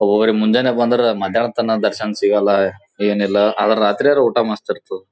ಒಬ್ಬ ಒಬ್ಬರಿಗ ಮುಂಜಾನೆ ಬಂದ್ರೆ ಮದ್ಯನಾತನ ದರ್ಶನ ಸಿಗಲ್ಲಾ ಏನ್ ಇಲ್ಲಾ ಅದರ ರಾತ್ರಿಯರ್ ಊಟ ಮಸ್ತ ಇರತ್ತದ್ .